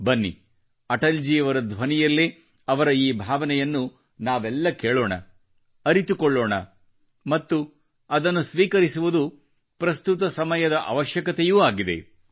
ಬನ್ನಿ ಅಟಲ್ ಜಿಯವರ ಧ್ವನಿಯಲ್ಲೇ ಅವರ ಈ ಭಾವನೆಯನ್ನು ನಾವೆಲ್ಲ ಕೇಳೋಣ ಅರಿತುಕೊಳ್ಳೋಣ ಮತ್ತು ಅದನ್ನು ಸ್ವೀಕರಿಸುವುದು ಪ್ರಸ್ತುತ ಸಮಯದ ಅವಶ್ಯಕತೆಯೂ ಆಗಿದೆ